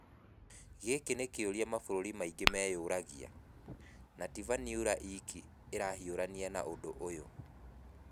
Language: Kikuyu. Gĩkĩ nĩ kĩũria mabũrũri maingĩ meyũragia, na ti Vanuatu iki ĩrahiũrania na ũndũ ta ũyũ.